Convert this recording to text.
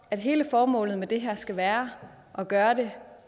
at hele formålet med det her skal være at gøre det